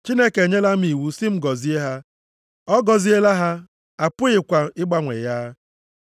Chineke enyela m iwu sị m gọzie ha. Ọ gọziela ha, a pụghịkwa ịgbanwe ya!